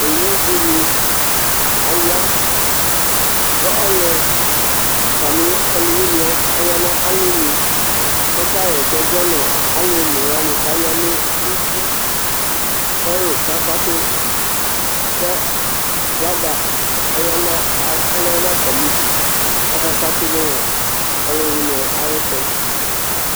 owʊɗɩnɩ aƴa ƙʊ atamɩ ɔlʊwɩnɩ ƴɛ ɔƴa nʊ alɔnʊ ƙɔƙahɛsɛ zɔnʊ alʊ onewanɩ ƙaƴanʊ ʊtɩ, mɛ alʊwanɩ aƙaƙatʊ ƙʊ aƒlaga ɔlɛnʊ atamɩɗʊ mɛ aƙaƙatʊ ɔlʊwɩɛ aƴɛsɛzɔwanɩ